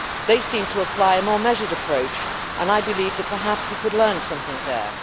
They seem to apply a more measured approach and I believe that we could perhaps learn something there.